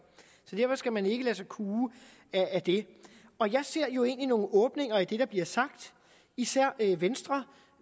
derfor skal man ikke lade sig kue af det og jeg ser jo egentlig nogle åbninger i det der bliver sagt især venstre